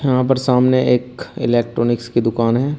यहां पर सामने एक इलेक्ट्रॉनिक्स की दुकान है।